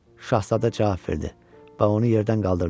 Şahzadə cavab verdi və onu yerdən qaldırdı.